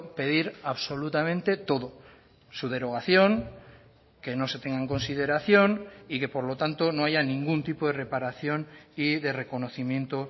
pedir absolutamente todo su derogación que no se tenga en consideración y que por lo tanto no haya ningún tipo de reparación y de reconocimiento